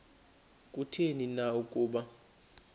kutheni na ukuba